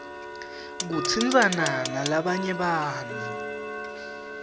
kutsintsana nalabanye bantfu